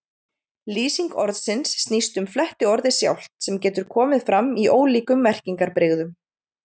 Lýsing orðsins snýst um flettiorðið sjálft, sem getur komið fram í ólíkum merkingarbrigðum.